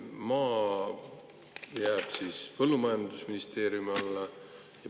Maa jääb siis põllumajandusministeeriumi alla.